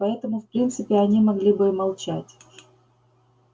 поэтому в принципе они могли бы и молчать